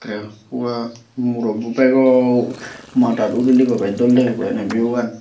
tey uwa murobo bego madat udilegoi bes dol digibo eney view gan.